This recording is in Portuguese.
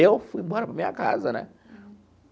Eu fui embora para a minha casa, né?